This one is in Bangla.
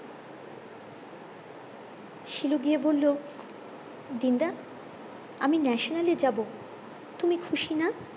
শিলু গিয়ে বললো দিন দা আমি ন্যাশনালে যাবো তুমি খুশি না